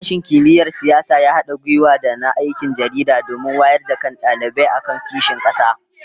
Sashen Kimiyyar Siyasa ya hada gwiwa da na Aikin Jaridah domin wayar da kan dalibai akan kishin kasa